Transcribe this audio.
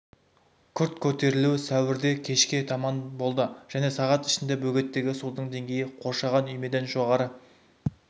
күрт көтерілуі сәуірде кешке таманда болды және сағат ішінде бөгеттегі судың деңгейі қоршаған үймеден жоғары